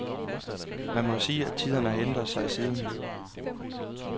Man må jo sige, at tiderne har ændret sig siden.